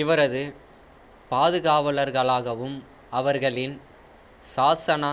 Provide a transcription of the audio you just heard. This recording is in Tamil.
இவரது பாதுகாவலர்களாகவும் அவர்களின் சாசனா